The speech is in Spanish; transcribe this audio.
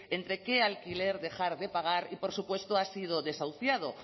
entre qué alquiler dejar de pagar y por supuesto ha sido desahuciado